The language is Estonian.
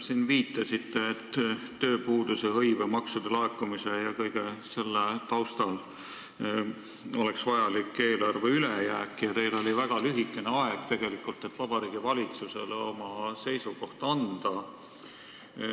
Te viitasite, et tööpuuduse, hõive, maksude laekumise ja kõige selle taustal oleks vajalik eelarve ülejääk ning teil oli tegelikult väga vähe aega, selleks et Vabariigi Valitsusele oma seisukoht anda.